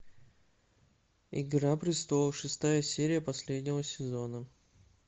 игра престолов шестая серия последнего сезона